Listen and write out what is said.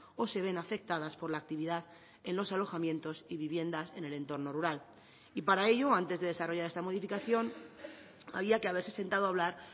o se ven afectadas por la actividad en los alojamientos y viviendas en el entorno rural y para ello antes de desarrollar esta modificación había que haberse sentado hablar